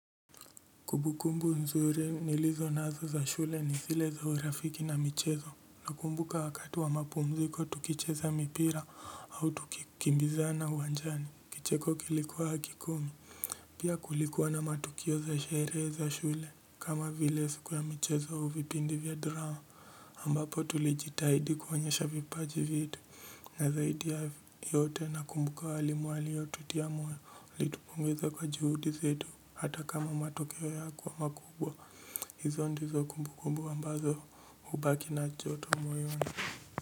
Kumbukumbu nzuri nilizo nazo za shule ni sile za hurafiki na michezo. Nakumbuka wakati wa mapumziko tukicheza mipira au tukimbiza na uwanjani. Kicheko kilikuwa hakikomi. Pia kulikuwa na matukio za shere za shule. Kama vilesiku ya michezo au vipindi vya drama ambapo tulijitahidi kwonyesha vipaji vitu. Na zaidi ya yote nakumbuka walimu waliyotutia moyo walitupongeza kwa juhudi zetu hata kama matokeo yako wa makubwa. Hizo ndizo kumbu kumbu wambazo ubaki na choto moyoni.